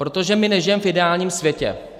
Protože my nežijeme v ideálním světě.